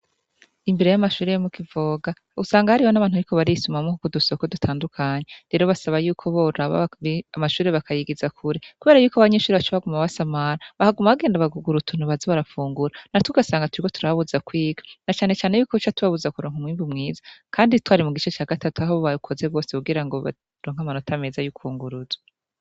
Imbere y'amashuri yo mukivoga usanga hariho n'abantu biko barisumamwoku ku dusoko dutandukanye rero basaba yuko bora aba amashure bakayigiza kure, kubera yuko abanyinshuri bacobaguma basamara bahaguma bagenda bagugurutuntu bazi barapfungura na tugasanga turiwo turabuza kwiga na canecane yuko ubuco tubabuza kuronka umwimbi umwiza, kandi twari mu gice ca gatatu aho bubaye ukoze bwose bugira ngobaronke amanota meza y'ukunguruzwa.